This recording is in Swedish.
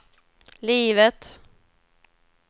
livet